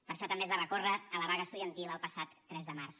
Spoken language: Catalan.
per això també es va recórrer a la vaga estudiantil el passat tres de març